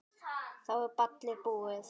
Þá er ballið búið.